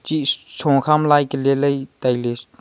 chi shuakha ma lai ke lai tailey.